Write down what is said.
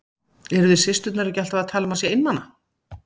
Eruð þið systurnar ekki alltaf að tala um að hann sé einmana?